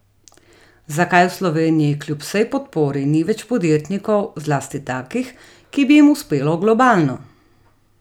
Zakaj v Sloveniji kljub vsej podpori ni več podjetnikov, zlasti takih, ki bi jim uspelo globalno?